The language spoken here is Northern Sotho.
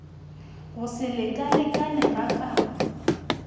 go se lekalekane ga kabo